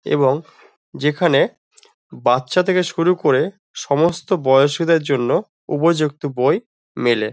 এবং যেখানে বাচ্চা থেকে শুরু করে সমস্ত বয়সীদের জন্য উপযুক্ত বই মেলে।